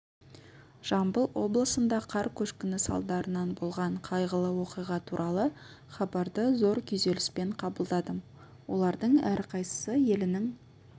жамбыл облысында қар көшкіні салдарынан болған қайғылы оқиға туралы хабарды зор күйзеліспен қабылдадым олардың әрқайсысы елінің